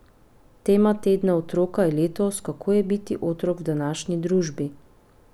Tema tedna otroka je letos Kako je biti otrok v današnji družbi?